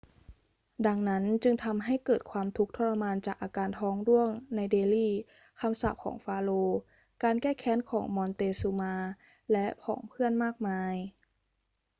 ดังนั้นจึงทำให้เกิดความทุกข์ทรมานจากอาการท้องร่วงในเดลี คำสาปของฟาโรห์ การแก้แค้นของมอนเตซูมาและผองเพื่อนมากมาย